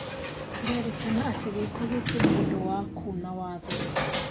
Kũrerĩkana atĩ gĩko gĩkĩ nĩ ũndũ wa Kuna watho